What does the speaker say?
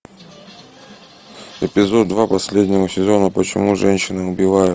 эпизод два последнего сезона почему женщины убивают